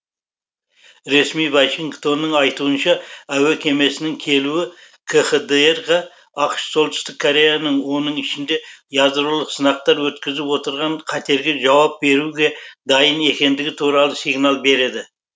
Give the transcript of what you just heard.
ресми вашингтонның айтуынша әуе кемесінің келуі кхдр ға ақш солтүстік кореяның оның ішінде ядролық сынақтар өткізіп отырған қатерге жауап беруге дайын екендігі туралы сигнал береді